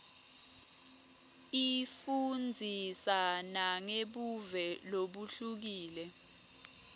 ifundzisa nangebuve lobuhlukile